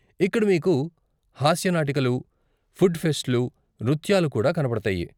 ఇక్కడ మీకు హాస్య నాటికలు, ఫుడ్ ఫెస్ట్లు, నృత్యాలు కూడా కనపడతాయి.